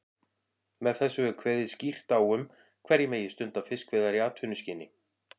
Með þessu er kveðið skýrt á um hverjir megi stunda fiskveiðar í atvinnuskyni.